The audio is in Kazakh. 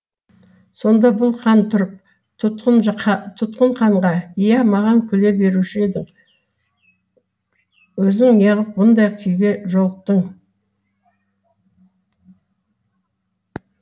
сонда бұл хан тұрып тұтқын ханға иә маған күле беруші елің өзің неғып мұндай күйге жолықтың